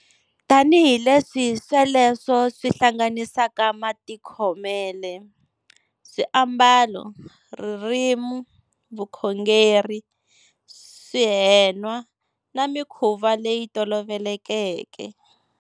Tanihileswi sweleswo swi hlanganisaka matikhomele, swi ambalo, ririmi, vukhongeri, swi henwa, na mikhuva leyi tolovelekeke.